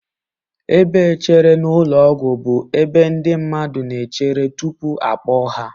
Ebe echere na ụlọ ọgwụ bụ ebe ndị mmadụ na-echere tupu akpọọ ha